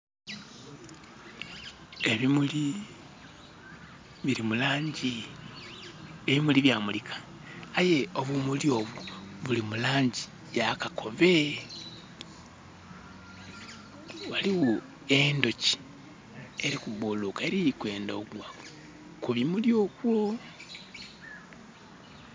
Ebimuli bili mu laangi. Ebimuli byamulika aye obumuli obwo buli mu laangi ya kakobe. Ghaligho endhoki eli kubuluka eli kwendha okugwa ku bimuli okwo.